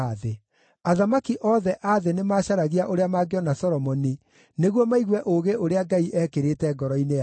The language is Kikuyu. Athamaki othe a thĩ nĩmacaragia ũrĩa mangĩona Solomoni nĩguo maigue ũũgĩ ũrĩa Ngai eekĩrĩte ngoro-inĩ yake.